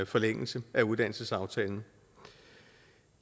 forlængelse af uddannelsesaftalen